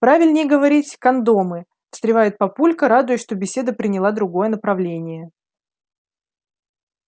правильнее говорить кондомы встревает папулька радуясь что беседа приняла другое направление